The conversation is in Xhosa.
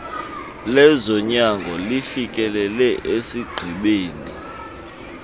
lezonyango lifikelele esigqibeni